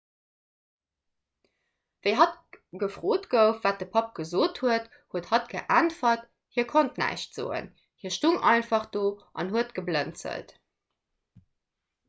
wéi hatt gefrot gouf wat de papp gesot huet huet hatt geäntwert hie konnt näischt soen hie stoung einfach do an huet geblënzelt